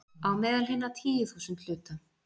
„á meðal hinna tíu þúsund hluta